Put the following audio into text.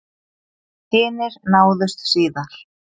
Hinir náðust síðar